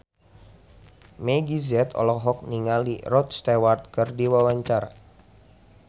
Meggie Z olohok ningali Rod Stewart keur diwawancara